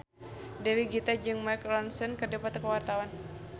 Dewi Gita jeung Mark Ronson keur dipoto ku wartawan